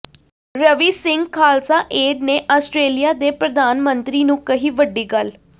Ravi Singh Khalsa Aid ਨੇ Australia ਦੇ ਪ੍ਰਧਾਨ ਮੰਤਰੀ ਨੂੰ ਕਹੀ ਵੱਡੀ ਗੱਲ